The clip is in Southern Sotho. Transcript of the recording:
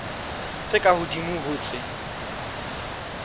tse ka hodimo ho tse